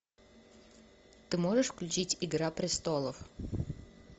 ты можешь включить игра престолов